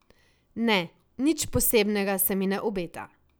Ne, nič posebnega se mi ne obeta.